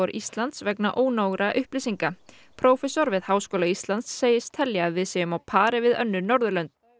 Íslands vegna ónógra upplýsinga prófessor við Háskóla Íslands segist telja að við séum á pari við önnur Norðurlönd